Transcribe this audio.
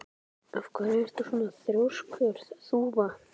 Af hverju ertu svona þrjóskur, Þúfa?